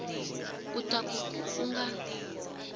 u ta ku ku nga